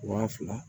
Waa fila